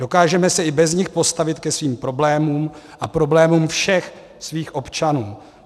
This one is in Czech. Dokážeme se i bez nich postavit ke svým problémům a problémům všech svých občanů.